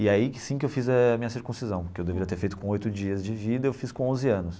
E aí que sim que eu fiz a minha circuncisão, que eu deveria ter feito com oito dias de vida eu fiz com onze anos.